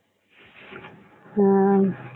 ஹம்